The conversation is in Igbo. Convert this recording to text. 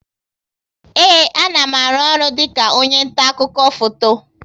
Ee, a na m aru ọrụ dịka onye nta akụkọ foto